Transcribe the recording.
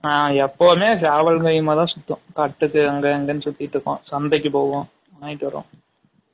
ஆ எப்பவுமே சேவலும் கையுமா தான் சுத்தும் கட்டுக்கு அங்க இங்கனு சுத்திட்டு இருக்கும் சந்தைக்கு போகும் வாங்கிட்டு வரும்